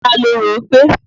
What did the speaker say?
Ta lorò gbé?